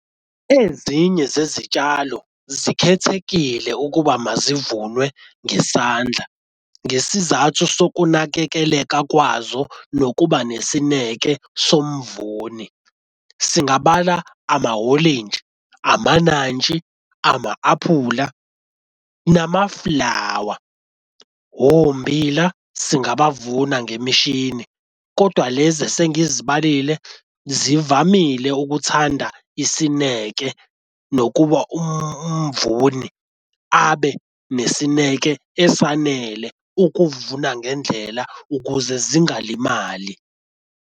Ezinye zezitshalo zikhethekile ukuba mazivunwe ngesandla, ngesizathu sokunakekeleka kwazo nokuba nesineke somvuni. Singabala amahorintshi, amanantshi, ama-aphula nama-flower, ommbila singabavuna ngemishini kodwa lezi esengizibalile zivamile ukuthanda isineke, nokuba umvuni abe nesineke esanele ukuvuna ngendlela ukuze zingalimali.